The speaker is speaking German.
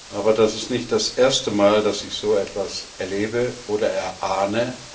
Aber das ist nicht das erste Mal, dass ich so etwas erlebe oder erahne.